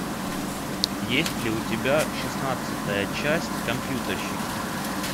есть ли у тебя шестнадцатая часть компьютерщики